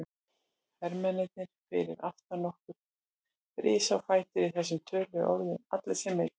Hermennirnir fyrir aftan okkur risu á fætur í þessum töluðum orðum, allir sem einn.